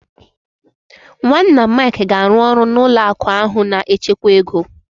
Nwanna Mike ga-arụ ọrụ n'ụlọ akụ ahụ na-echekwa ego.